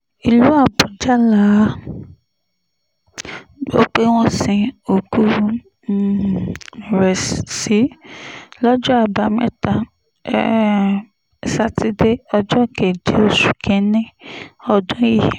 ìlú àbújá la gbọ́ pé wọ́n sin òkú um rẹ̀ sí lọ́jọ́ àbámẹ́ta um sátidé ọjọ́ keje oṣù kín-ín-ní ọdún yìí